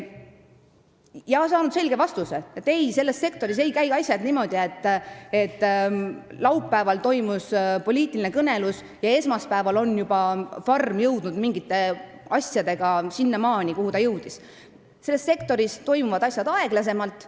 Nad on saanud selge vastuse, et ei, selles sektoris ei käi asjad niimoodi, et laupäeval toimus poliitiline kõnelus ja esmaspäeval on juba farm jõudnud mingite asjadega sinnamaale, kuhu ta oli jõudnud, sest selles sektoris toimuvad asjad aeglasemalt.